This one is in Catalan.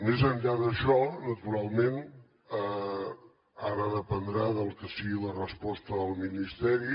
més enllà d’això naturalment ara dependrà del que sigui la resposta del ministeri